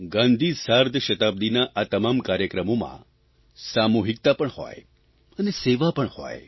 ગાંધી સાર્ધશતાબ્દિના આ તમામ કાર્યક્રમોમાં સામૂહિકતા પણ હોય અને સેવા પણ હોય